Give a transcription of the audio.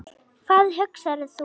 Hvað hugsar þú?